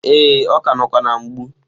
Ee, ọ ka nọkwa na-mgbu.